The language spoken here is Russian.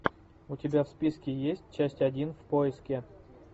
у тебя в списке есть часть один в поиске